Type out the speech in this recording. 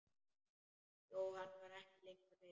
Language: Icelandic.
Jóhann var ekki lengur reiður.